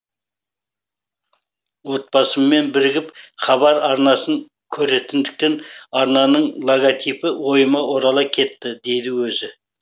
отбасыммен бірігіп хабар арнасын көретіндіктен арнаның логотипі ойыма орала кетті дейді өзі